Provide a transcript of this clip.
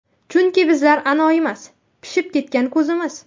Chunki bizlar anoyimas, Pishib ketgan ko‘zimiz.